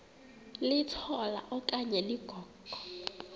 litola okanye ligogo